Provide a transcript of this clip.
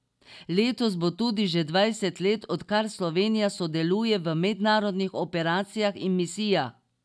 Letos bo tudi že dvajset let, odkar Slovenija sodeluje v mednarodnih operacijah in misijah.